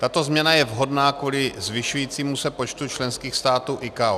Tato změna je vhodná kvůli zvyšujícímu se počtu členských států ICAO.